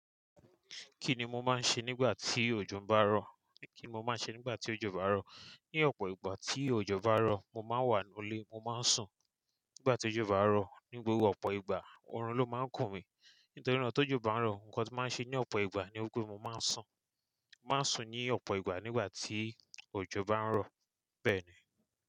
Kí ni mo máa ń ṣe nígbà tí òjò bá ń rọ̀? Kí ni mo máa ń ṣe nígbà tí òjò bá ń rọ̀? Ni ọ̀pọ̀ ìgbà tí òjò bá ń rọ̀, mo máa ń wà nílé, mo máa ń sùn. Nígbà tí òjò bá ń rọ̀, ni gbogbo ọ̀pọ̀ ìgbà, oorun ló máa ń kùn mí. Nítorí náà tí òjò bá ń rọ̀, nǹkan tí mo máa ń ṣe ní ọ̀pọ̀ ìgbà ni pé, mo máa ń sùn. Mo máa ń sùn ní ọ̀pọ̀ ìgbà nígbà tí òjò bá ń rọ̀, bẹ́ẹ̀ ni.